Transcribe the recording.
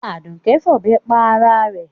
Àdùké fọ̀bẹ pa ara rẹ̀.